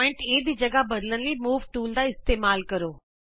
ਬਿੰਦੂ A ਦੀ ਥਾਂ ਬਦਲਣ ਲਈ ਮੂਵ ਟੂਲ ਦਾ ਇਸਤੇਮਾਲ ਕਰੋ